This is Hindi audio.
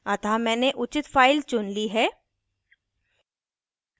अतः मैंने उचित फ़ाइल चुन ली है